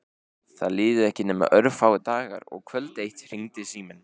Það liðu ekki nema örfáir dagar og kvöld eitt hringdi síminn.